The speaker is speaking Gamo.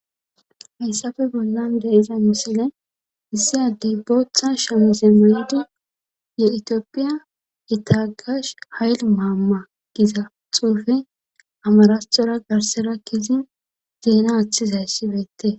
Hessafe bollan de iza misile issi addey bootha shamize medu ye itiophiya etagash hayl maama giza xuufe amarasxora garserakkizi zeena aththizayssibeette.